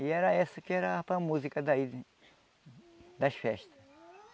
E era essa que era a música daí das festas.